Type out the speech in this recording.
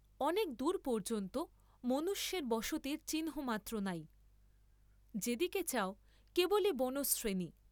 অনেক দূর পর্য্যন্ত মনুষ্যের বসতির চিহ্ন মাত্র নাই; যে দিকে চাও কেবলি বনশ্রেণী।